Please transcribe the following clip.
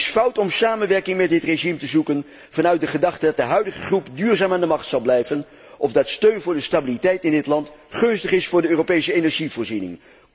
Het is fout om samenwerking met dit regime te zoeken vanuit de gedachte dat de huidige groep duurzaam aan de macht zal blijven, of dat steun voor de stabiliteit in dit land gunstig is voor de Europese energievoorziening.